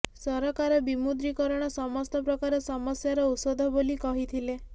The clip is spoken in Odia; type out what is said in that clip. ସରକାର ବିମୁଦ୍ରୀକରଣ ସମସ୍ତ ପ୍ରକାର ସମସ୍ୟାର ଔଷଧ ବୋଲି କହିଥିଲେ